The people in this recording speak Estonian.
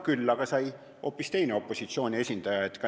Küll aga sai üks teine opositsiooni esindaja.